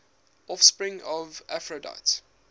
offspring of aphrodite